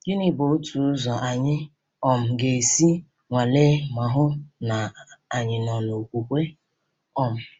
Gịnị bụ otu ụzọ anyị um ga-esi nwalee ma hụ na anyị nọ n’okwukwe? um